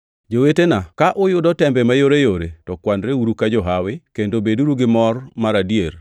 Jowetena ka uyudo tembe mayoreyore to kwanreuru ka johawi kendo beduru gi mor mar adier